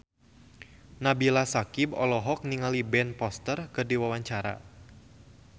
Nabila Syakieb olohok ningali Ben Foster keur diwawancara